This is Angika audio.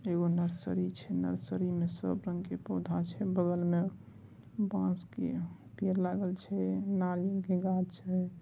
यह वो नर्सरी है नर्सरी म इ सब रंग का पोधा है बगल में बस की पेड़ लागल है नारियेल के घा शे --